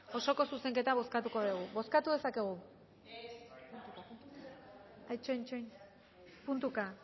osoko zuzenketa bozkatuko dugu bozkatu dezakegu ah itxoin itxoin puntuka